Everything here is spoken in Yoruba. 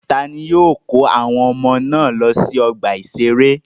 Ta ni yóò kó àwọn ọmọ náà lọ sí ọgbà-ìṣeré?